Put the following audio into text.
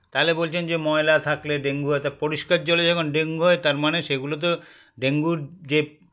তালে বলছেন যে ময়লা থাকলে dengue হয় তা পরিস্কার জলে যখন dengue হয় তারমানে সেগুলোতো dengue -র যে